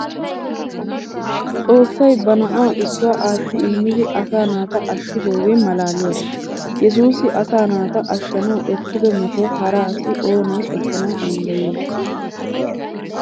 Xoossay ba na'aa issuwa aatti immidi asaa naata ashshidoogee maalaaliyaba! Yesuusi asaa naata ashshanawu ekkido metuwa hara asi oonee ekkana danddayiyay?